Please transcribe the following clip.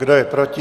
Kdo je proti?